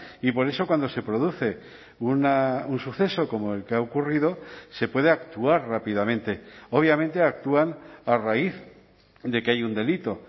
y por eso cuando se produce un suceso como el que ha ocurrido se puede actuar rápidamente obviamente actúan a raíz de que hay un delito